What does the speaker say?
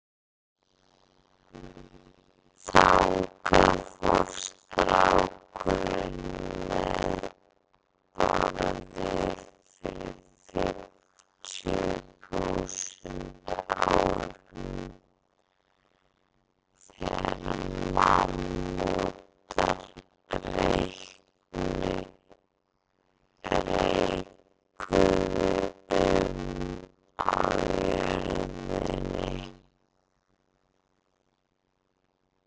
Þangað fór strákurinn með Bárði fyrir fimmtíu þúsund árum, þegar mammútar reikuðu um á jörðinni.